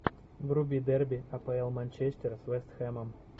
вруби дерби апл манчестера с вест хэмом